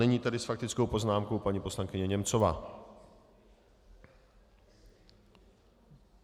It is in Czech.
Nyní tedy s faktickou poznámkou paní poslankyně Němcová.